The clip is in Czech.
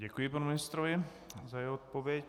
Děkuji panu ministrovi za jeho odpověď.